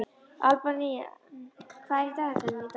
Albína, hvað er í dagatalinu í dag?